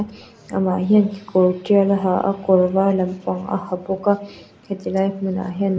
amah hian kekawr tial a ha a kawr var lampang a ha bawk a heti lai hmun ah hian--